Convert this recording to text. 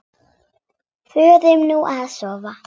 Förum nú að sofa.